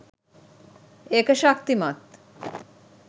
ඒක ශක්තිමත්